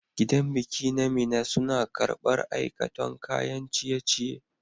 Gidan biki na mina suna karbar aikaton kayan ciye ciye